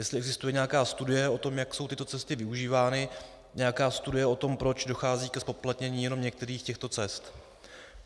Jestli existuje nějaká studie o tom, jak jsou tyto cesty využívány, nějaká studie o tom, proč dochází ke zpoplatnění jenom některých těchto cest.